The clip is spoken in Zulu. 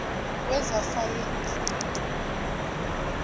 wezasayensi